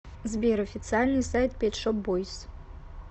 сбер официальный сайт пет шоп бойз